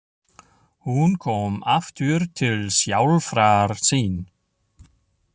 Hún kom aftur til sjálfrar sín.